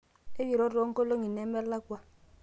ekiro toonkolongi nemelakwa